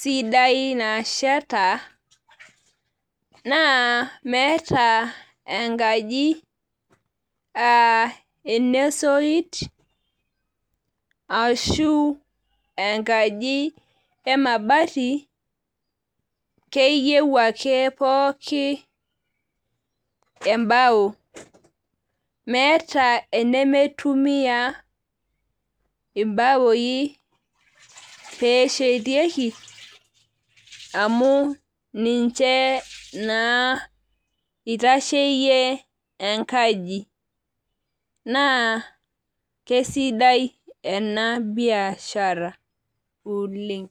sidai nasheta naa meeta naa meeta enkaji esoit ashu enkaji emabati , keyieu ake pooki embao , meeta enemeitumia imbaoi peshetieki amu ninche naa itasheyie enkaji naa kesidai enabishara oleng.